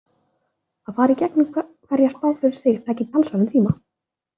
Að fara í gegnum hverja spá fyrir sig tæki talsverðan tíma.